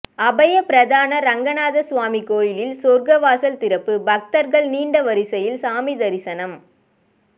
அபயபிரதான ரெங்கநாத சுவாமி கோயிலில் சொர்க்கவாசல் திறப்பு பக்தர்கள் நீண்ட வரிசையில் சாமி தரிசனம்